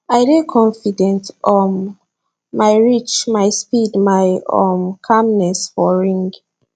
i dey confident um my reach my speed my um calmness for ring